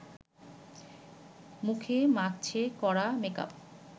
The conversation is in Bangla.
মুখে মাখছে কড়া মেকআপ